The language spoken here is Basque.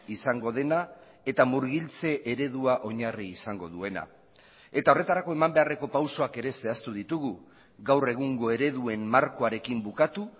izango dena eta murgiltze eredua oinarri izango duena eta horretarako eman beharreko pausuak ere zehaztu ditugu gaur egungo ereduen markoarekin bukatu